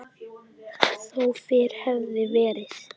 Þó fyrr hefði verið.